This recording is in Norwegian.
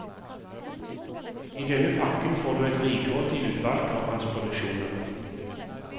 I denne pakken får du et rikholdig utvalg av hans produksjoner.